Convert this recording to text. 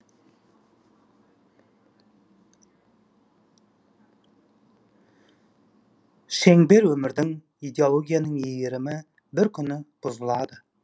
шеңбер өмірдің идеологияның иірімі бір күні бұзылады